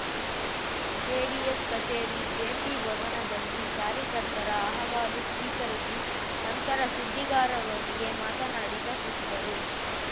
JDS ಕಚೇರಿ ಜೆಪಿ ಭವನದಲ್ಲಿ ಕಾರ್ಯಕರ್ತರ ಅಹವಾಲು ಸ್ವೀಕರಿಸಿ ನಂತರ ಸುದ್ದಿಗಾರರೊಂದಿಗೆ ಮಾತನಾಡಿದ ಸಚಿವರು